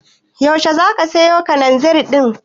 Yaushe zaka siyo Kalanzir ɗin?